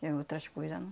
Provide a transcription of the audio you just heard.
Que outras coisas não.